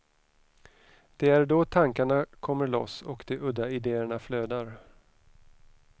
Det är då tankarna kommer loss och de udda idéerna flödar.